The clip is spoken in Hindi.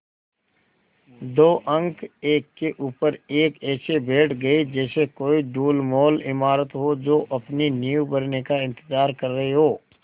दो अंक एक के ऊपर एक ऐसे बैठ गये जैसे कोई ढुलमुल इमारत हो जो अपनी नींव भरने का इन्तज़ार कर रही हो